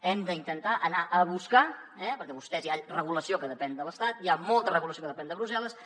hem d’intentar anar a buscar eh perquè vostès hi ha regulació que depèn de l’estat hi ha molta regulació que depèn de brussel·les